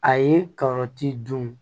A ye karɔti dun